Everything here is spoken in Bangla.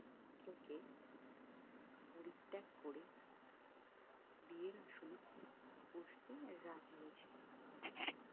পাত্রকে পরিত্যাগ করে বিয়ের আসনে বসতে রাজি হয়েছিলেন